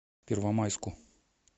первомайску